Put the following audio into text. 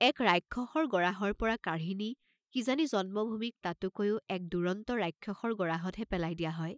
এক ৰাক্ষসৰ গৰাহৰ পৰা কাঢ়ি নি কিজানি জন্মভূমিক তাতোকৈও এক দুৰন্ত ৰাক্ষসৰ গৰাহত হে পেলাই দিয়া হয়?